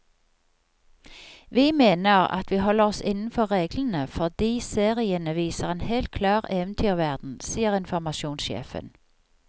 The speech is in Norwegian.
Vi mener at vi holder oss innenfor reglene, fordi seriene viser en helt klar eventyrverden, sier informasjonssjefen.